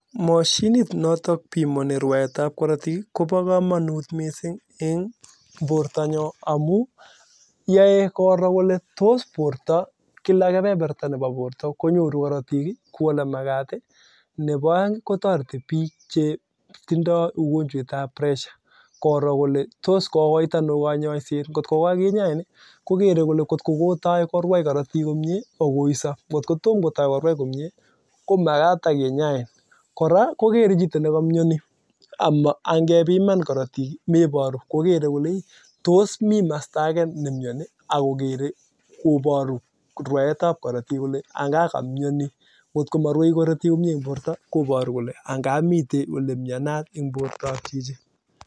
Mashinit notok pimani rwaet ab korotik kobo kamanut amuu keree kolee tos kila kepeperta nebo borto konyoru korotik ii kou olemakat ii nebo aeng kotoreti bik chetindo (pressure) tos kokoit anoo konyoset koraa kokere chito nekamnyani angepiman korotik ii mebaruu